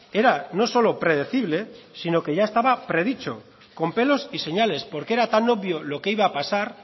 era no solo predecible sino que ya estaba predicho con pelos y señales porque era tan obvio lo que iba a pasar